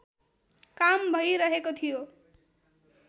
काम भइरहेको थियो